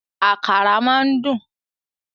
Àkàrà máa ń dùn